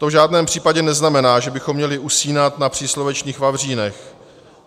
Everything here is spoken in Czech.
To v žádném případě neznamená, že bychom měli usínat na příslovečných vavřínech.